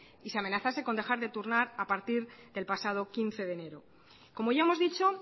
y se amenazase con dejar de turnar a partir del pasado quince de enero como ya hemos dicho